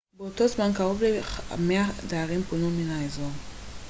באותו זמן קרוב ל-100 דיירים פונו מן האזור